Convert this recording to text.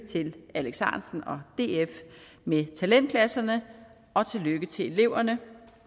alex ahrendtsen og df med talentklasserne og tillykke til eleverne